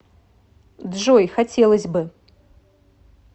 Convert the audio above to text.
джой хотелось бы